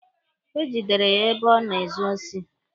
E gidere ya ebe ọ na-ezu osi.